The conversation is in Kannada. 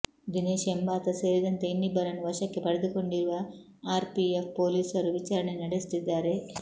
ದಿನೇಶ್ ಎಂಬಾತ ಸೇರಿದಂತೆ ಇನ್ನಿಬ್ಬರನ್ನು ವಶಕ್ಕೆ ಪಡೆದುಕೊಂಡಿರುವ ಆರ್ ಪಿ ಎಫ್ ಪೊಲೀಸರು ವಿಚಾರಣೆ ನಡೆಸುತ್ತಿದ್ದಾರೆ